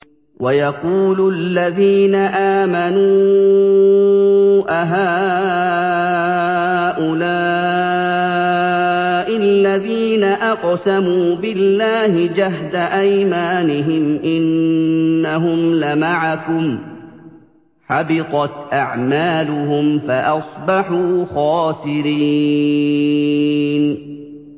وَيَقُولُ الَّذِينَ آمَنُوا أَهَٰؤُلَاءِ الَّذِينَ أَقْسَمُوا بِاللَّهِ جَهْدَ أَيْمَانِهِمْ ۙ إِنَّهُمْ لَمَعَكُمْ ۚ حَبِطَتْ أَعْمَالُهُمْ فَأَصْبَحُوا خَاسِرِينَ